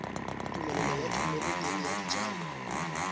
tumelelo ya thomeloteng ya dijalo